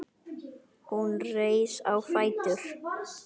Hún reis á fætur.